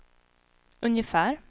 ungefär